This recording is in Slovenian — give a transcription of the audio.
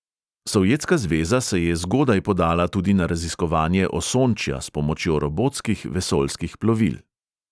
Sovjetska zveza se je zgodaj podala tudi na raziskovanje osončja s pomočjo robotskih vesoljskih plovil.